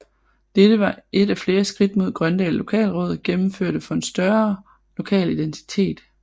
Dette var et af flere skridt som Grøndal Lokalråd gennemførte for en større lokal identitet